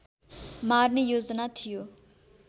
मार्ने योजना थियो